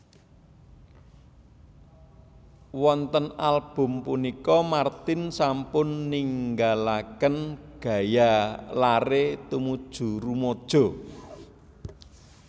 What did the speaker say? Wonten album punika martin sampun ninggalaken gaya lare tumuju rumaja